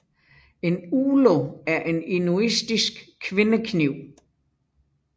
En ulo er en inuitisk kvindekniv